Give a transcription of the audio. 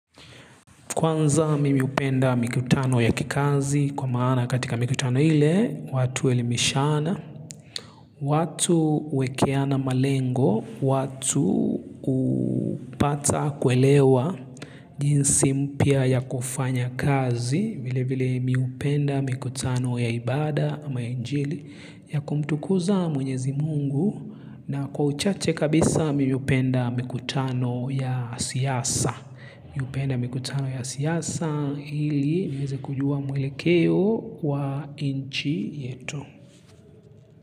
Kwanza mimi hupenda mikutano ya kikazi kwa maana katika mikutano ile watu huelimishana. Watu huwekeana malengo, watu hupata kuelewa jinsi mpya ya kufanya kazi vile vile mimi hupenda mikutano ya ibada ama injili ya kumtukuza mwenyezi mungu na kwa uchache kabisa mimi hupenda mikutano ya siasa. Mimi hupenda mikutano ya siasa ili niweze kujua mwele keo wa nchi yetu.